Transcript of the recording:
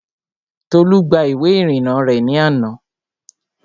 Tolú gba ìwé ìrìnnà rẹ̀ ní àná